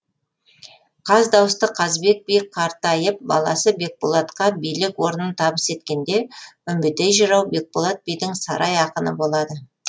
қаздауысты қазыбек би қартайып баласы бекболатқа билік орнын табыс еткенде үмбетей жырау бекболат бидің сарай ақыны болады